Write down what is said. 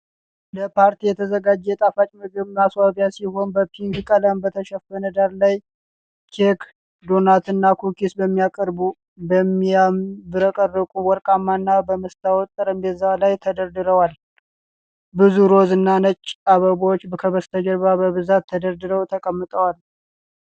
ለፓርቲ የተዘጋጀ የጣፋጭ ምግብ ማስዋቢያ ሲሆን በፒንክ ቀለም በተሸፈነ ዳራ ላይ ኬክ፣ ዶናት እና ኩኪስ በሚያብረቀርቁ ወርቃማ እና በመስታወት ጠረጴዛዎች ላይ ተደርድሯል። ብዙ ሮዝ እና ነጭ አበቦች ከበስተጀርባ በብዛት ተደርድረው ተቀምተውል።